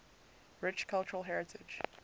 rich cultural heritage